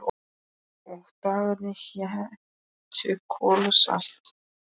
Og dagarnir hétu Kol og Salt